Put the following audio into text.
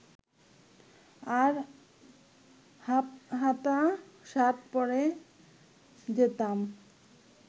আর হাফহাতা শার্ট পরে যেতাম